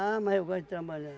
mas eu gosto de trabalhar.